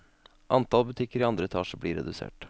Antall butikker i andre etasje blir redusert.